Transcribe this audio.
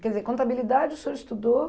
Quer dizer, contabilidade o senhor estudou?